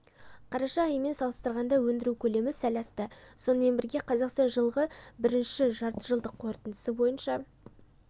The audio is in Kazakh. қараша айымен салыстырғанда өндіру көлемі сәл асты сонымен бірге қазақстан жылғы бірінші жартыжылдық қорытындысы бойынша